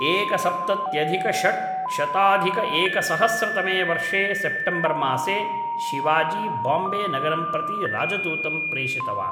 एकसप्तत्यधिकषड्शताधिकएकसहस्रतमे वर्षे सेप्टेम्बर्मासे शिवाजी बाम्बे नगरं प्रति राजदूतं प्रेषितवान्